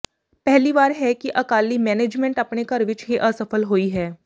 ਪਹਿਲੀ ਵਾਰ ਹੈ ਕਿ ਅਕਾਲੀ ਮੈਨੇਜਮੈਂਟ ਆਪਣੇ ਘਰ ਵਿੱਚ ਹੀ ਅਸਫ਼ਲ ਹੋਈ ਹੈ